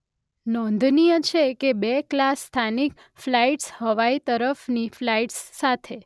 નોંધનીય છે કે બે-ક્લાસ સ્થાનિક ફ્લાઇટ્સ હવાઈ તરફની ફ્લાઇટ્સ સાથે